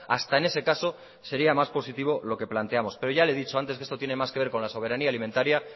hasta en ese caso sería más positivo lo que planteamos pero ya le he dicho antes que esto tiene más que ver con la soberanía alimentaría